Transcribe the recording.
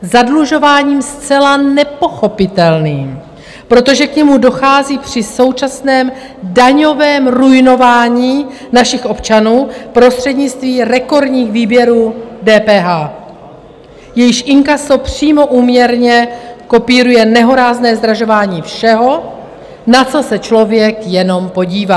Zadlužováním zcela nepochopitelným, protože k němu dochází při současném daňovém ruinování našich občanů prostřednictvím rekordních výběrů DPH, jejíž inkaso přímo úměrně kopíruje nehorázné zdražování všeho, na co se člověk jenom podívá.